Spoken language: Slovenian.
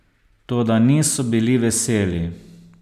Toda niso bili veseli.